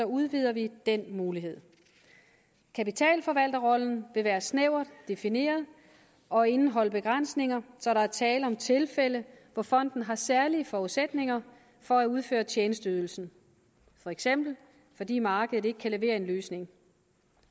udvider vi den mulighed kapitalforvalterrollen vil være snævert defineret og indeholde begrænsninger så der er tale om tilfælde hvor fonden har særlige forudsætninger for at udføre tjenesteydelsen for eksempel fordi markedet ikke kan levere en løsning